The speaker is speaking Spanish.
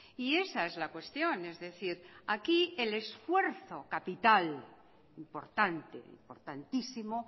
y esa es la cuestión es decir aquí el esfuerzo capital importante importantísimo